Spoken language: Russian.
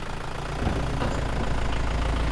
топтуны поставь